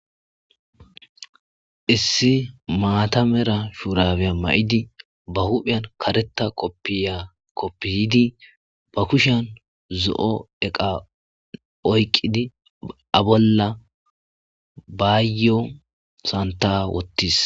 Issi matta medha shuraba mayidi ba huphiya kareta kopiya kopiyidi ba kushiyani zo'o eqa oyiqidi a bolla bayo sanitta wotisi